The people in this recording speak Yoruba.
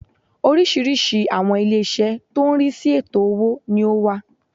Oriísirísi àwọn ilé isẹ́ tó n rí sí ètò owó ni ó wà